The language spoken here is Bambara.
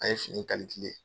An ye fini in